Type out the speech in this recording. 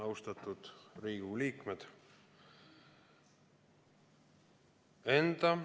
Austatud Riigikogu liikmed!